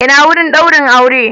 Ina wurin daurin aure?